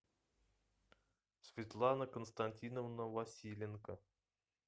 светлана константиновна василенко